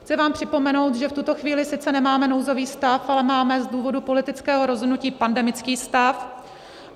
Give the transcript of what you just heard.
Chci vám připomenout, že v tuto chvíli sice nemáme nouzový stav, ale máme z důvodu politického rozhodnutí pandemický stav.